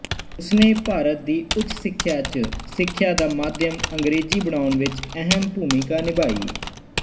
ਉਸਨੇ ਭਾਰਤ ਦੀ ਉੱਚ ਸਿੱਖਿਆ ਚ ਸਿੱਖਿਆ ਦਾ ਮਾਧਿਅਮ ਅੰਗਰੇਜ਼ੀ ਬਣਾਉਣ ਵਿੱਚ ਅਹਿਮ ਭੂਮਿਕਾ ਨਿਭਾਈ